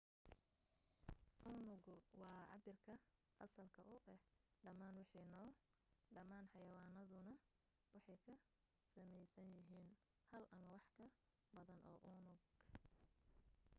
unugu waa cabbirka asalka u ah dhammaan wixii nool dhammaan xayawaanaduna waxay ka sameysan yihiin hal ama wax ka badan oo unug